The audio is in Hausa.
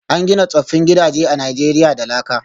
An gina tsoffin gidaje a Najeriya da laka